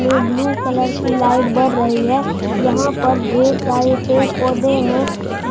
में blue colour की light बर रही है यहां पर ढेर सारे पेर पौधे हैं।